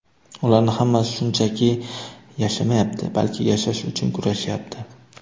Ularning hammasi shunchaki yashamayapti, balki yashash uchun kurashyapti.